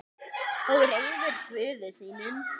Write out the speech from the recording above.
Og reiður Guði sínum.